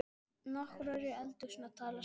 Nokkrir eru í eldhúsinu að tala saman.